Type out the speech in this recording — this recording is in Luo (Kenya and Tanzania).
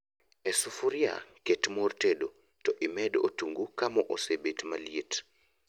E sufria, ket mor tedo to imed otungu kamoo osebet maliet